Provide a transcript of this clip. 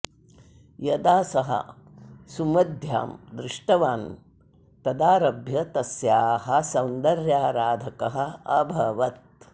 यदा सः सुमध्यां दृष्टवान् तदारभ्य तस्याः सौन्दर्याराधकः अभवत्